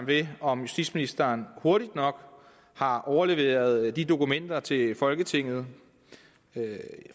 ved om justitsministeren hurtigt nok har overleveret de dokumenter til folketinget